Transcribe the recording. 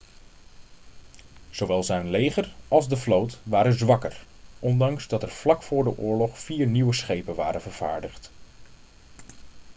zowel zijn leger als de vloot waren zwakker ondanks dat er vlak voor de oorlog vier nieuwe schepen waren vervaardigd